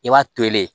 I b'a to ye